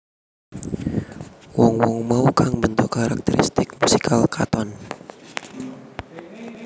Wong wong mau kang mbentuk karakteristik musikal Katon